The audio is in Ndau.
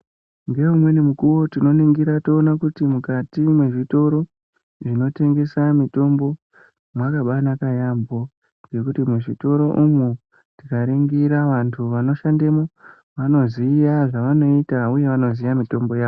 Ngeumweni mukuwo tinoningira toona kuti mukati mwezvitoro zvinotengesa mitombo mwakabaanaka yamho ngekuti muzvitoro umwo tikaringira vanhu vanoshandemwo vanoziya zvavanoita uye vanoziya mitombo yavo.